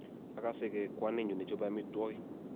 akasegei kwaninyu ne chape amitwog'ik